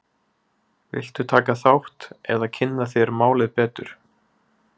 Viltu taka þátt eða kynna þér málið betur?